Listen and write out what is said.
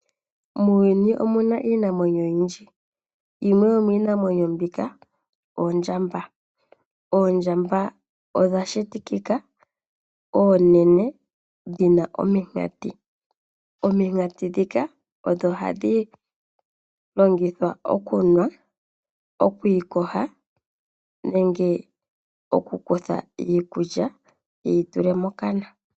Muuyuni omuna iinamwenyo oyindji, yimwe yomiinamwenyo mbika oondjamba. Oondjamba odha shitikikika oonene dhina omikati, omikati dhika odho hadhi longithwa okunwa, okwiiyoga nenge oku kutha iikulya yi yitule mokana.